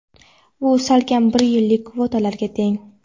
Bu salkam bir yillik kvotalarga teng.